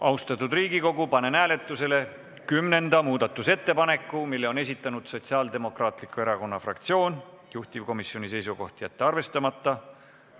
Austatud Riigikogu, panen hääletusele kümnenda muudatusettepaneku, mille on esitanud Sotsiaaldemokraatliku Erakonna fraktsioon, juhtivkomisjoni seisukoht: jätta arvestamata.